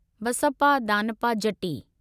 Basappa Danappa Jatti